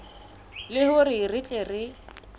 le hore re tle re